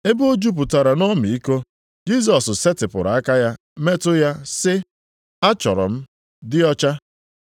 Ebe o jupụtara nʼọmịiko, Jisọs setịpụrụ aka ya metụ ya sị, “Achọrọ m, dị ọcha!”